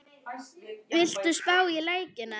Viltu spá í leikina?